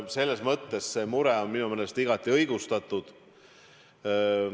Selles mõttes on see mure minu meelest igati õigustatud.